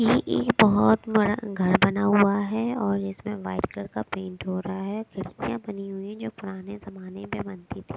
यह एक बहुत बड़ा घर बना हुआ है और इसमें वाइट कलर का पेंट हो रहा है खिड़कियाँ बनी हुई हैं जो पुराने जमाने में बनती थीं।